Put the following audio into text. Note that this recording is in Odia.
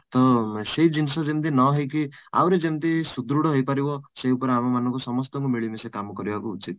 ତ ସେଇ ଜିନିଷ ଯେମିତି ନ ହେଇକି ଆହୁରି ଯେମିତି ସୃଦୃଢ଼ ହେଇପାରିବ ସେଇ ଉପରେ ଆମ ମାନଙ୍କୁ ସମସ୍ତଙ୍କୁ ମିଳି ମିଶି କାମ କରିବାକୁ ପଡିବ